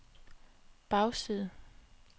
bagside